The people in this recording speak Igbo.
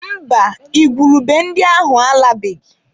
Mba, igwurube ndị ahụ alabeghị.